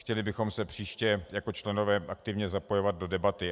Chtěli bychom se příště jako členové aktivně zapojovat do debaty.